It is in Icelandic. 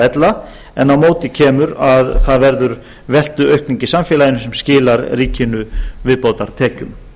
ella en á móti kemur að það verður veltuaukning í samfélaginu sem skilar ríkinu viðbótartekjum